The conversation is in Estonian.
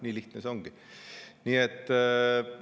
Nii lihtne see ongi.